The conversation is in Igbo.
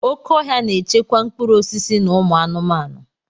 Oké ọhia na-echekwa mkpụrụ osisi na ụmụ anụmanụ.